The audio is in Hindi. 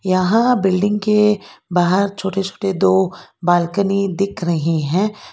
यहां बिल्डिंग के बाहर छोटे छोटे दो बालकनी दिख रही हैं।